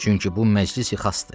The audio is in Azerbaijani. Çünki bu məclisi xassdır.